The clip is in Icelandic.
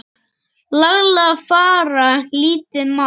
laglega fara lítið má.